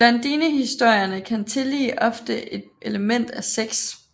Blondinehistorierne kan tillige ofte et element af sex